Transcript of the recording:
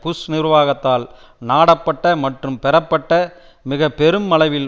push நிர்வாகத்தால் நாடப்பட்ட மற்றும் பெறப்பட்ட மிக பெரும் அளவில்